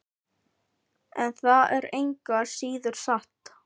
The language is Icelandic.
En það er engu að síður satt.